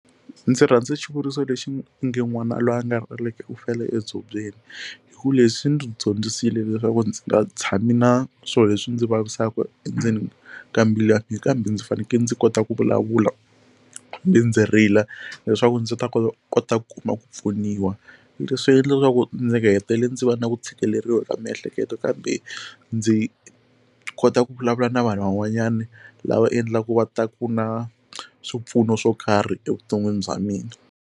Ndzi rhandza xivuriso lexi u nge n'wana loyi a nga rileki u fele etshubyeni hi ku leswi ndzi dyondzisile leswaku ndzi nga tshami na swilo leswi ndzi vavisaka endzeni ka mbilu kambe ndzi fanekele ndzi kota ku vulavula ndzi ndzi rila leswaku ndzi ta kota ku kota ku kuma ku pfuniwa leswi endla ku ndzi hetile ndzi va na ku tshikeleriwa ka miehleketo kambe ndzi kota ku vulavula na vanhu van'wanyana lava endlaka va ta ku na swipfuno swo karhi evuton'wini bya mina.